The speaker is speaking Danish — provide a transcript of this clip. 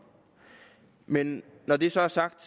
men når det så er sagt